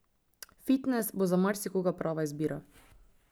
Fitnes bo za marsikoga prava izbira.